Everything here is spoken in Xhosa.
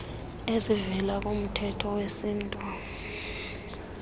ezivela kumthetho wesintu